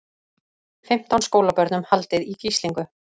Fimmtán skólabörnum haldið í gíslingu